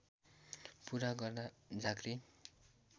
पूरा गर्दा झाँक्री